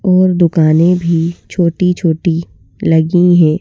और दुकानें भी छोटी-छोटी लगी हैं।